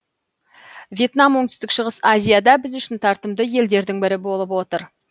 вьетнам оңтүстік шығыс азияда біз үшін тартымды елдердің бірі болып отыр